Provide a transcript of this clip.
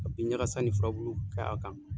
Ka bin ɲakasa ni furabulu k'a kan.